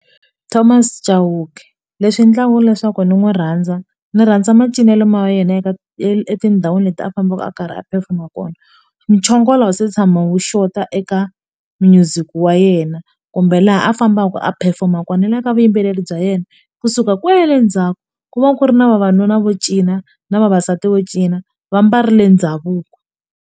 Thomas Chauke leswi endlaka leswaku ndzi n'wi rhandza ndzi rhandza macinelo ma yena eka etindhawini leti a fambaka a karhi a perform-a kona muchongolo a wu se tshama wu xota eka music wa yena kumbe laha a fambaka a perform-a kona eka vuyimbeleri bya yena kusuka kwele ndzhaku ku va ku ri na vavanuna vo cina na vavasati vo cina va mbarile ndhavuko.